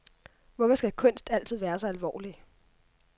Hvorfor skal kunst altid være så alvorlig?